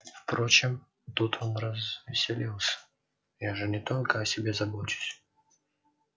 впрочем тут он развеселился я же не только о себе забочусь